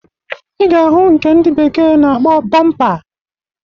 Ị ga-ahụ nke ndị bekee na-akpọ bọmpa